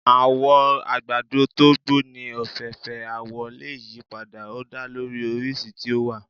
Àwọ̀ àgbàdo to gbó ní ọ̀fẹ́fẹ̀ẹ́, awọ lè yí padà, ó da lórí oríṣi tí ó wà.